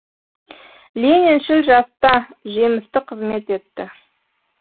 лениншіл жаста жемісті қызмет етті